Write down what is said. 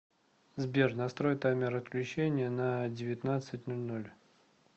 сбер настрой таймер отключения на девятнадцать ноль ноль